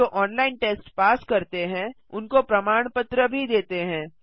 जो online test pass करते हैं उनको प्रमाण पत्र भी देते हैं